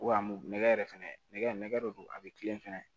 Wa m yɛrɛ fɛnɛ nɛgɛ dɔ don a bɛ kilen fɛnɛ